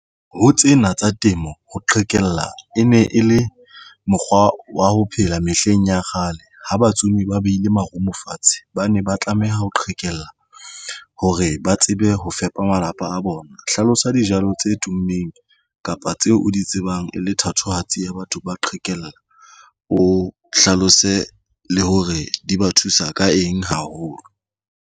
Ho tsena tsa temo ho qhekella e ne e le mokgwa wa ho phela mehleng ya kgale ho batsumi ba beile marumo fatshe, ba ne ba tlameha ho qhekella hore ba tsebe ho fela app malapa a bona. Hlalosa dijalo tse tummeng kapa tseo o di tsebang e le thatohatsi ya batho ba qhekellwa. O hlalose le hore di ba thusa ka eng haholo.